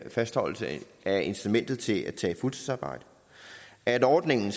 fastholdelse af incitamentet til at tage et fuldtidsarbejde at ordningen